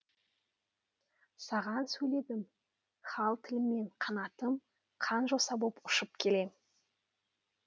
саған сөйледім хал тілімен қанатым қан жоса боп ұшып келем